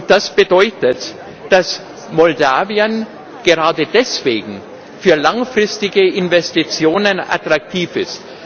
Das bedeutet, dass Moldau gerade deswegen für langfristige Investitionen attraktiv ist.